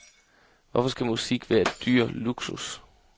Hvorfor skal musik være dyr luksus?